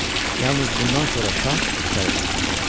Yalnız bundan sonra şah içəri daxil oldu.